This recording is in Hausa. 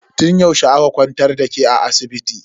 Tun yaushe aka kwantar da ke a asibiti?